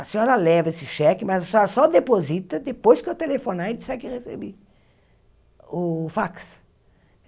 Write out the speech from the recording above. A senhora leva esse cheque, mas a senhora só deposita depois que eu telefonar e disser que recebi o fax.